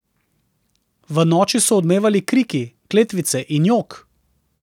V noči so odmevali kriki, kletvice in jok.